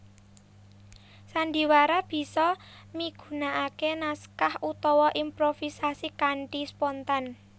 Sandhiwara bisa migunaaké naskah utawa improvisasi kanthi spontan